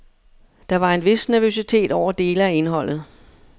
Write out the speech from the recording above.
Der var en vis nervøsitet over dele af indholdet.